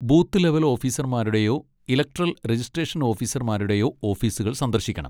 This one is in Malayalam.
ബൂത്ത് ലെവൽ ഓഫീസർമാരുടെയോ ഇലക്ടറൽ രജിസ്ട്രേഷൻ ഓഫീസർമാരുടെയോ ഓഫീസുകൾ സന്ദർശിക്കണം.